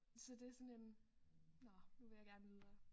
Så det er sådan en nåh nu vil jeg gerne videre